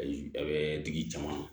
A bɛ tigi caman